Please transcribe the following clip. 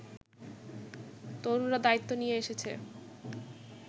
তরুণরা দায়িত্ব নিয়ে এসেছে